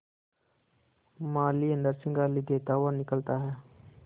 माली अंदर से गाली देता हुआ निकलता है